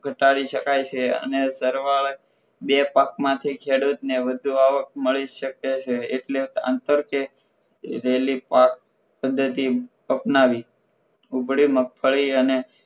ઘટાડી શકાય છે અને સરવાળા બે પાક માંથી ખેડૂતને વધુ આવક મળી શકે છે એટલે અંતર કે રેલી પાક પદ્ધતિ અપનાવી ઉગડી મગફળી અને